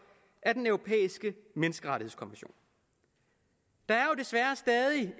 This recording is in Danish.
af den europæiske menneskerettighedskonvention der er desværre